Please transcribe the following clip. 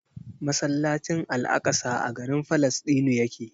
Masallacin al'aƙsa a garin Falasɗinu yake.